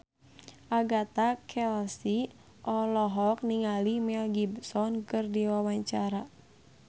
Agatha Chelsea olohok ningali Mel Gibson keur diwawancara